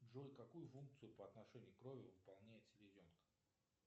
джой какую функцию по отношению к крови выполняет селезенка